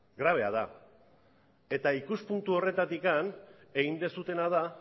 grabea da eta ikuspuntu horretatik egin duzuena da